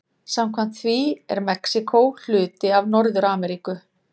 Samkvæmt því er Mexíkó hluti af Norður-Ameríku.